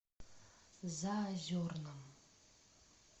заозерном